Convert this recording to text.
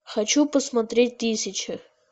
хочу посмотреть тысяча